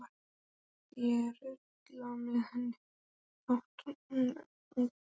Stundum mátti ég rulla með henni þvott úti í hjalli.